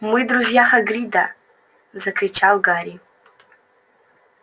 мы друзья хагрида закричал гарри